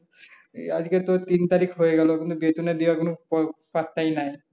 এই আজগে তো তিন তারিখ হয়ে গেল এখনো বেতনের দেওয়ার কোন পো পাত্তায় নাই।